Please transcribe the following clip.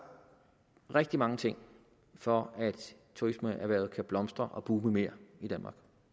rigtig mange ting for at turismeerhvervet kan blomstre og boome mere i danmark